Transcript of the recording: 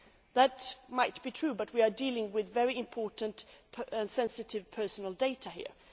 That might be true, but we are dealing with very important and sensitive personal data here.